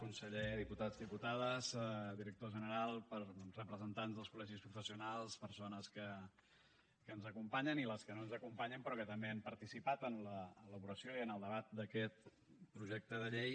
conseller diputats diputades director general representants dels col·legis professionals persones que ens acompanyen i les que no ens acompanyen però que també han participat en l’elaboració i en el debat d’aquest projecte de llei